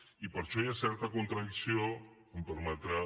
i per això hi ha certa contradicció em permetrà